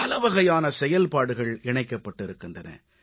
பலவகையான செயல்பாடுகள் இணைக்கப்பட்டிருக்கின்றன